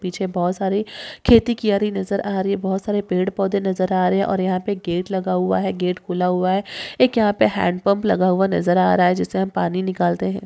पीछे बहुत सारी खेती की यारी नजर आ रही है बहुत सारे पेड़ पौधे नजर आ रहे हैं और यहां पे गेट लगा हुआ है। गेट खुला हुआ है एक यहां पे हैडपम्प लगा हुआ नजर आ रहा है जिससे हम पानी निकालते है।